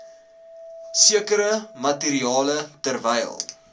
sekere materiale terwyl